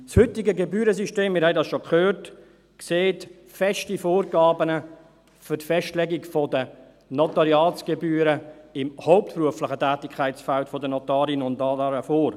Das heutige Gebührensystem – wir haben es schon gehört – sieht feste Vorgaben für die Festlegung der Notariatsgebühren im hauptberuflichen Tätigkeitsfeld der Notarinnen und Notare vor.